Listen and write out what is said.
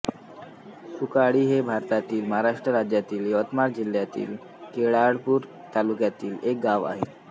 सुकळी हे भारतातील महाराष्ट्र राज्यातील यवतमाळ जिल्ह्यातील केळापूर तालुक्यातील एक गाव आहे